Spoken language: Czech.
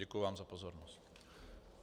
Děkuji vám za pozornost.